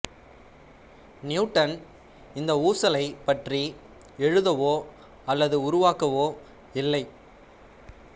Newton இந்த ஊசலைப் பற்றி எழுதவோ அல்லது உருவாக்கவோ இல்லை